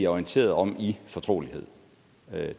orienteret om i fortrolighed